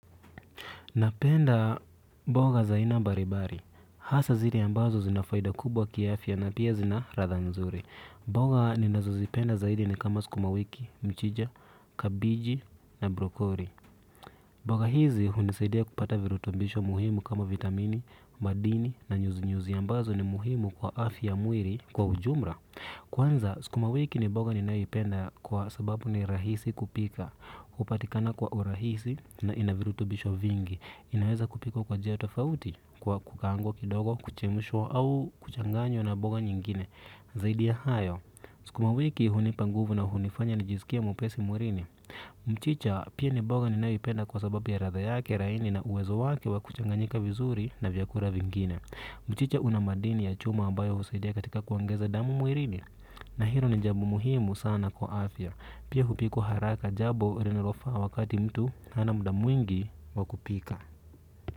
Napenda mboga za aina mbalimbali. Hasa zile ambazo zina faida kubwa kiafya na pia zina ladha nzuri. Mboga ninazozipenda zaidi ni kama skuma wiki, mchicha, kabiji na brokoli. Mboga hizi hunisaidia kupata virutubisho muhimu kama vitamini, madini na nyuzi-nyuzi ambazo ni muhimu kwa afya mwili kwa ujumla. Kwanza skuma wiki ni mboga ninayoipenda kwa sababu ni rahisi kupika. Hupatikana kwa urahisi na ina virutubisho vingi. Inaweza kupikwa kwa njia tofauti kwa kukaangwa kidogo kuchemshwa au kuchanganywa na mboga nyingine. Zaidi ya hayo sukuma wiki hunipa nguvu na hunifanya nijisikie mwepesi mwilini. Mchicha pia ni mboga ninayoipenda kwa sababu ya ladha yake laini na uwezo wake wa kuchanganyika vizuri na vyakula vingine. Mchicha una madini ya chuma ambayo husaidia katika kuongeza damu mwilini. Na hilo ni jambo muhimu sana kwa afya. Pia hupikwa haraka jambo linalofaa wakati mtu hana muda mwingi wa kupika.